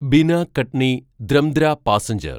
Bina Katni ൫൦൫ passenger